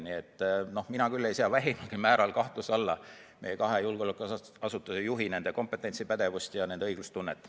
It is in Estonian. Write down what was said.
Nii et mina küll ei sea vähimalgi määral kahtluse alla meie kahe julgeolekuasutuse juhi kompetentsi, pädevust ja nende õiglustunnet.